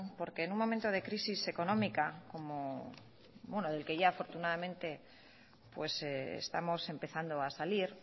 porque en un momento de crisis económica del que ya afortunadamente estamos empezando a salir